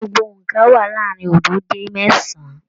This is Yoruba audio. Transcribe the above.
Gbogbo óńka wà láàrin oodo dé mẹsan-an.